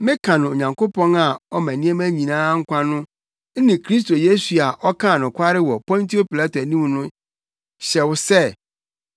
Meka no Onyankopɔn a ɔma nneɛma nyinaa nkwa no ne Kristo Yesu a ɔkaa nokware wɔ Pontio Pilato anim no hyɛ wo sɛ,